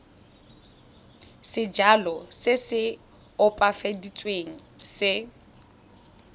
sejalo se se opafaditsweng se